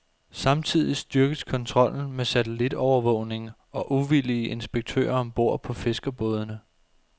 Samtidig styrkes kontrollen med satellitovervågning og uvildige inspektører om bord på fiskerbådene.